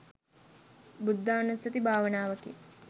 බුද්ධානුස්සති භාවනාවකි.